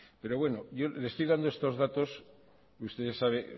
yo le estoy dando estos datos y usted ya sabe